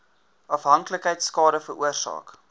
afhanklikheid skade veroorsaak